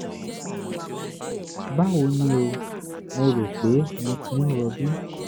báwo ni o? mo rò pé mo ti ń rọbí